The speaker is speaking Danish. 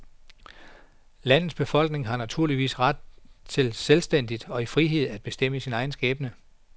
Landets befolkning har naturligvis ret til selvstændigt og i frihed at bestemme sin egen skæbne.